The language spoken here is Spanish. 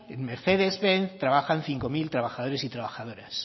en mercedes benz trabajan cinco mil trabajadores y trabajadoras